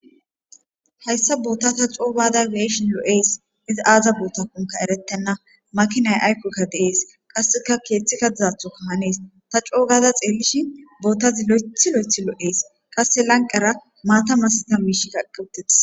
Hayssa boota ta coo gaada be'eshin lo'ees izi aaza bootakonka erettenna makinay aykoka de'es qasseka keeththika dizathokka hanees ta coo gaada xeelishin bootazi loyththi loyththi lo'ees qasse lanqera maata masatiza miishikka ekki uttides.